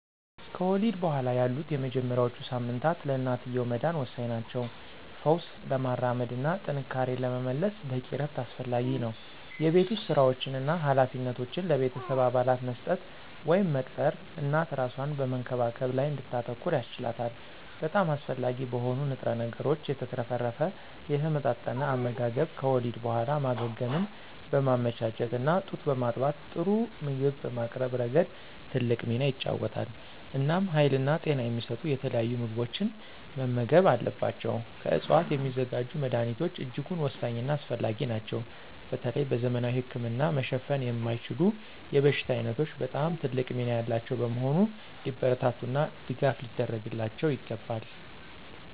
ከወሊድ በኋላ ያሉት የመጀመሪያዎቹ ሳምንታት ለእናትየው መዳን ወሳኝ ናቸው። ፈውስ ለማራመድ እና ጥንካሬን ለመመለስ በቂ እረፍት አስፈላጊ ነው። የቤት ውስጥ ሥራዎችን እና ኃላፊነቶችን ለቤተሰብ አባላት መስጠት ወይም መቅጠር እናት እራሷን በመንከባከብ ላይ እንድታተኩር ያስችላታል። በጣም አስፈላጊ በሆኑ ንጥረ ነገሮች የተትረፈረፈ የተመጣጠነ አመጋገብ ከወሊድ በኋላ ማገገምን በማመቻቸት እና ጡት በማጥባት ጥሩ ምግብ በማቅረብ ረገድ ትልቅ ሚና ይጫወታል። እናም ሀይልና ጤና የሚሰጡ የተለያዩ ምግቦችን መመገብ አለባቸው። ከዕፅዋት የሚዘጋጁ መድኀኒቶች እጅጉን ወሳኝና አስፈላጊ ናቸው በተለይ በዘመናዊ ህክምና መሸፈን የማይችሉ የበሽታ ዓይነቶች በጣም ትልቅ ሚና ያላቸው በመሆኑ ሊበረታቱና ድጋፍ ሊደረግላቸው ይገባል።